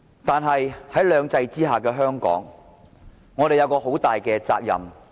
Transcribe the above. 但是，在兩制之下的香港，我們有一個很大的責任。